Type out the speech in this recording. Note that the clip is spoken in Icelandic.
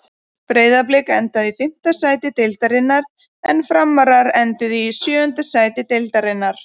Breiðablik endaði í fimmta sæti deildarinnar en Framarar enduðu í sjöunda sæti deildarinnar.